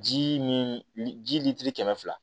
Ji ni lili ji litiri kɛmɛ fila